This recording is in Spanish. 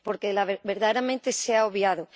Porque, verdaderamente, se ha obviado.